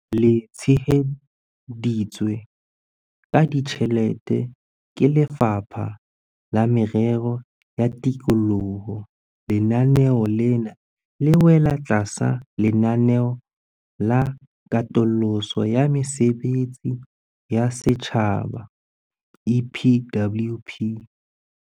Le tsheheditswe ka ditjhelete ke Lefapha la Merero ya Tikoloho, lenaneo lena le wela tlasa Lenaneo la Katoloso ya Mesebetsi ya Setjhaba, EPWP.